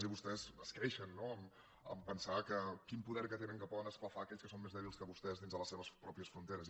i vostès es creixen no en pensar que quin poder que tenen que poden esclafar aquells que són més dèbils que vostès dins de les seves pròpies fronteres